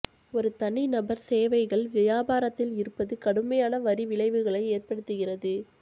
ஒரு தனிநபர் சேவைகள் வியாபாரத்தில் இருப்பது கடுமையான வரி விளைவுகளை ஏற்படுத்துகிறது